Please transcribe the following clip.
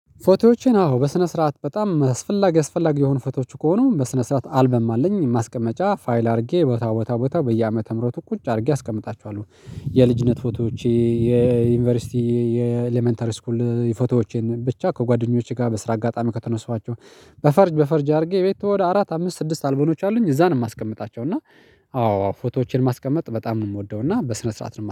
ፎቶዎቼን አዎ በስነ ስርዓት በጣም አስፈላጊ አስፈላጊ የሆኑ ፎቶዎች ከሆኑ በስነ ስርዓት አልበም አለኝ ማስቀመጫ ፋይል አድርጌ ቦታ ቦታ ቦታ በየአመተ ምህረቱ ቁጭ አድርጌ አስቀምጣችኋለሁ። የልጅነት ፎቶዎቼ፣ የዩኒቨርሲቲ የኤለመንተሪ ስኩል የፎቶዎቼን ብቻ ከጓደኞቼ ጋር በስራ አጋጣሚ ከተነሳኋቸው በፈርጅ በፈርጅ አድርጌ ቤት ወደ አራት አምስት ስድስት አልበሞች አሉኝ እዛን የማስቀምጣቸው እና አዎ አዎ ፎቶዎችን ማስቀመጥ በጣም ነው የምወደው እና በስነ ስርዓት ነው።